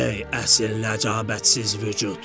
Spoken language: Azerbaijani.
Ey əsil ləcəbətsiz vücud.